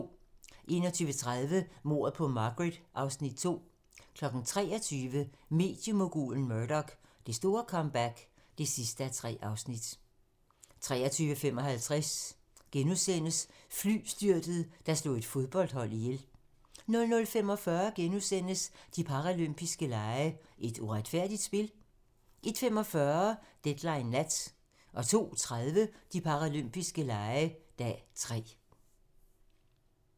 21:30: Mordet på Margaret (Afs. 2) 23:00: Mediemogulen Murdoch: Det store comeback (3:3) 23:55: Flystyrtet, der slog et fodboldhold ihjel * 00:45: De paralympiske lege: Et uretfærdigt spil? * 01:45: Deadline nat 02:30: De paralympiske lege - dag 3